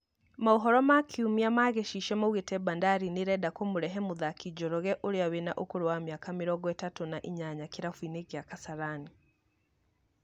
Maũhoro ma kiumia ma Gĩchichio maũgite Bandari nĩrenda kũmũrehe mũthaki Njoroge ũrĩa wĩna ũkũrũ wa Miaka mĩrongo ĩtatũ na inyanya kĩrabuinĩ kĩa Kasarani